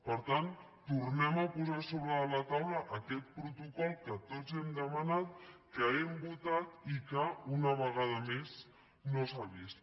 per tant tornem a posar a sobre de la taula aquest protocol que tots hem demanat que hem votat i que una vegada més no s’ha vist